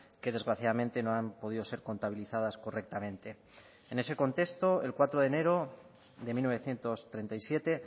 que desgraciadamente no han podido ser contabilizadas correctamente en ese contexto el cuatro de enero de mil novecientos treinta y siete